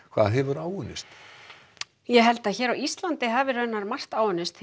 hvað hefur áunnist ég held að hér á Íslandi hafi margt áunnist